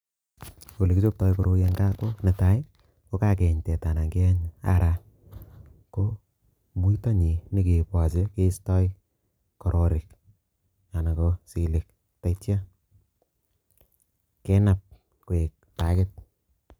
Ole kichoptoi koroi en gaa ko netai ko kakeyeny teta anan keyeny ara ko muito nyi kenyokeboche kisto kororik anan ko silik taityo kenap koik bakit